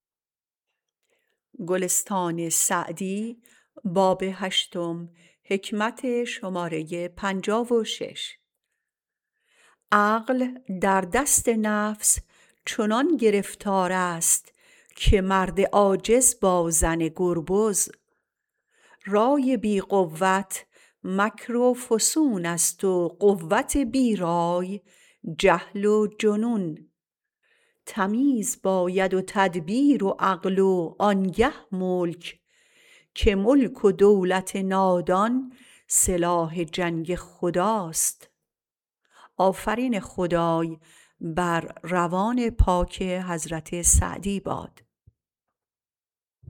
عقل در دست نفس چنان گرفتار است که مرد عاجز با زن گربز رای بی قوت مکر و فسون است و قوت بی رای جهل و جنون تمیز باید و تدبیر و عقل و آن گه ملک که ملک و دولت نادان سلاح جنگ خداست